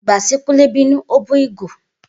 Igba ti Kunle binu, o bu igo.